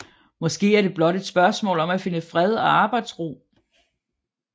Måske er det blot et spørgsmål om at finde fred og arbejdsro